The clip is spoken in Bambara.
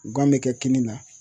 Gan bɛ kɛ kini na